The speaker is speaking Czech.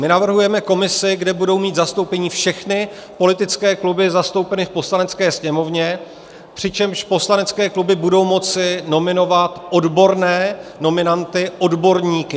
My navrhujeme komisi, kde budou mít zastoupení všechny politické kluby zastoupené v Poslanecké sněmovně, přičemž poslanecké kluby budou moci nominovat odborné nominanty, odborníky.